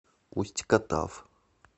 усть катав